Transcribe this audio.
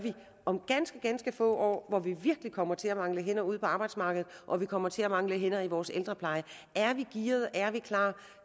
om ganske ganske få år hvor vi virkelig kommer til at mangle hænder ude på arbejdsmarkedet og vi kommer til at mangle hænder i vores ældrepleje er vi gearet er vi klar